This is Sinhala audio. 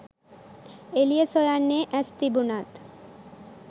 එලිය සොයන්නේ ඈස් තිබුනත්